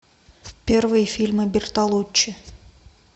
первые фильмы бертолуччи